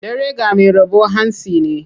Dare ga mai rabo hantsi ne.